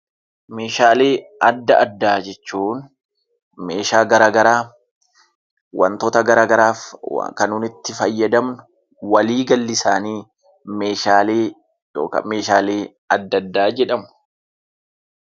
Meeshaalee adda addaa jechuun meeshaa gara garaa, wantoota gara garaaf waa kan nuun itti fayyadamnu walii galli isaanii 'Meeshaalee adda addaa' jedhamu.